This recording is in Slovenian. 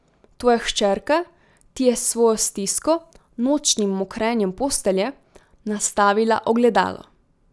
Tvoja hčerka ti je s svojo stisko, nočnim mokrenjem postelje, nastavila ogledalo.